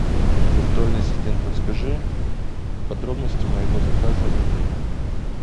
виртуальный ассистент подскажи подробности моего заказа в отеле